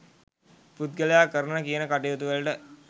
පුද්ගලයා කරන කියන කටයුතුවලට